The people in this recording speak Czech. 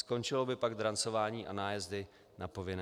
Skončilo by pak drancování a nájezdy na povinné.